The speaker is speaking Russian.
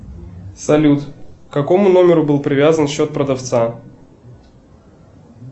салют к какому номеру был привязан счет продавца